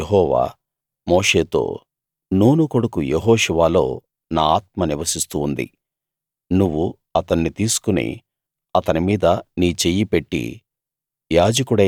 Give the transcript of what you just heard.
అందుకు యెహోవా మోషేతో నూను కొడుకు యెహోషువలో నా ఆత్మ నివసిస్తూ ఉంది నువ్వు అతన్ని తీసుకుని అతని మీద నీ చెయ్యి పెట్టి